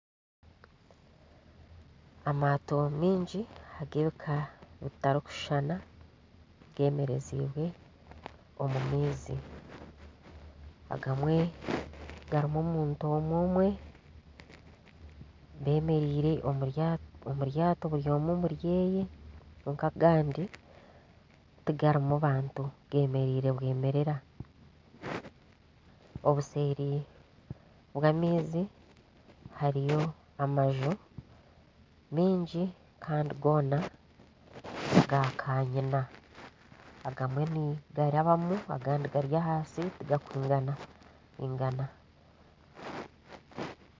Amaato maingi ag'ebiika bitarikushushana gemerezibwe omu maizi agamwe garimu omuntu omwe omwe bemereire omu ryaato buri omwe omuryeye kwonka agandi tigarimu bantu gemereire bwemerera obuseeri bw'amaizi hariyo amanju mingi kandi goona gakanyina agamwe nigarabamu agandi gari ahansi tigakwigana gaana.